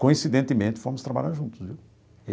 Coincidentemente, fomos trabalhar juntos, viu?